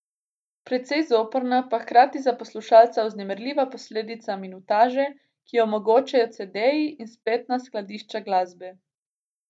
Precej zoprna, pa hkrati za poslušalca vznemirljiva posledica minutaže, ki jo omogočajo cedeji in spletna skladišča glasbe.